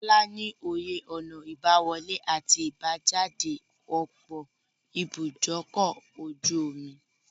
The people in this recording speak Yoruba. Kọ́lá ní òye ọ̀nà ìbá wọlé àti ìbá jáde ọ̀pọ̀ ibúdókọ̀-ojú-omi.